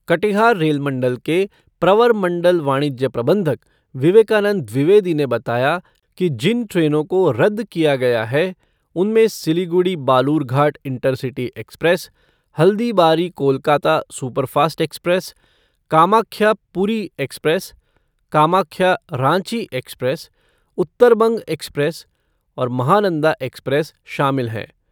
Katihar rail मंडल के प्रवर मंडल वाणिज्य प्रबंधक विवेकानंद द्विवेदी ने बताया कि जिन ट्रेनों को रद्द किया गया है, उनमें Siliguri Balurghat intercity express, Haldibari Kolkata superfast express, Kamakhya Puri express, Kamakhya Ranchi express, Uttarbang express और महानंदा एक्सप्रेस शामिल हैं।